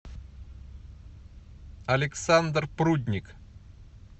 александр прудник